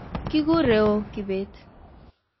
kigureo kIbet